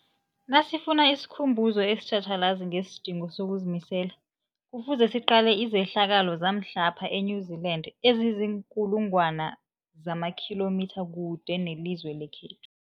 Nasifuna isikhumbuzo esitjhatjhalazi ngesidingo sokuzimisela, Kufuze siqale izehlakalo zamhlapha e-New Zealand eziinkulu ngwana zamakhilomitha kude nelizwe lekhethu.